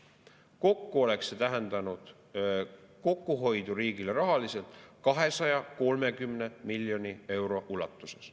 Kokku oleks see tähendanud kokkuhoidu riigile rahaliselt 230 miljoni euro ulatuses.